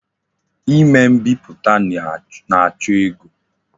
Ime mbiputa na-acho ego.